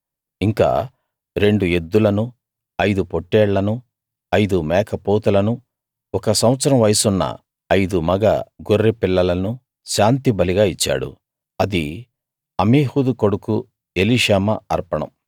ఇంకా రెండు ఎద్దులను ఐదు పొట్టేళ్లనూ ఐదు మేకపోతులను ఒక సంవత్సరం వయసున్న ఐదు మగ గొర్రె పిల్లలను శాంతిబలిగా ఇచ్చాడు ఇది అమీహూదు కొడుకు ఎలీషామా అర్పణం